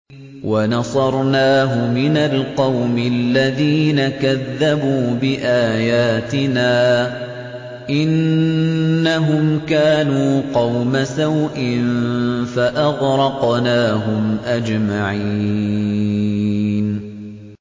وَنَصَرْنَاهُ مِنَ الْقَوْمِ الَّذِينَ كَذَّبُوا بِآيَاتِنَا ۚ إِنَّهُمْ كَانُوا قَوْمَ سَوْءٍ فَأَغْرَقْنَاهُمْ أَجْمَعِينَ